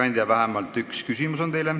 Teile on vähemalt üks küsimus.